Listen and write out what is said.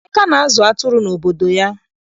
Emeka na-azụ atụrụ n'obodo ya.